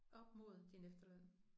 Op mod din efterløn